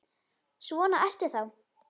Svona ertu þá!